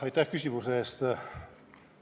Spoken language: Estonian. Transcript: Aitäh küsimuse eest!